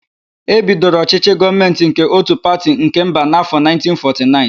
E bidoro ọchỊchỊ gọọmentị nke ótù pati nke mba n'áfọ 1949.